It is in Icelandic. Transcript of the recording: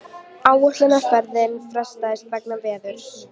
Áætlunarferð frestað vegna veðurs